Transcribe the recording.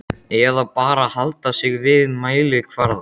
Eða bara halda sig við mælikvarðana?